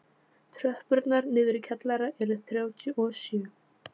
Tröppurnar niður í kjallara eru þrjátíu og sjö.